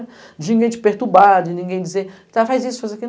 De ninguém te perturbar, de ninguém dizer, então faz isso, faz aquilo.